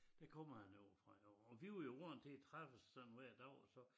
Der kommer han ovre fra derovre og var jo vandt til at træffes sådan hver dag og så